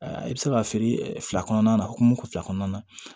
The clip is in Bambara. I bɛ se ka feere fila kɔnɔna na hokumu kɔɔna na